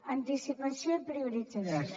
anticipació i priorització